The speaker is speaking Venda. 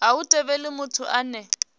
a hu thivheli muthu ane